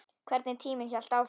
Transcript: Hvernig tíminn hélt áfram.